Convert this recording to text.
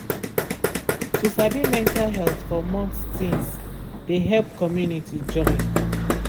to sabi mental health for month things de help community join.